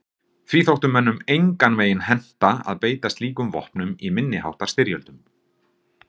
Því þótti mönnum engan veginn henta að beita slíkum vopnum í minni háttar styrjöldum.